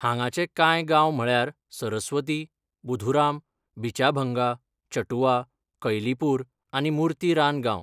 हांगाचे कांय गांव म्हळ्यार सरस्वती, बुधुराम, बिचाभंगा, चटुआ, कैलीपूर आनी मूर्ति रान गांव.